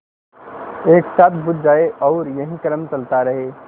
एक साथ बुझ जाएँ और यही क्रम चलता रहे